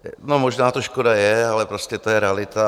No, možná to škoda je, ale prostě to je realita.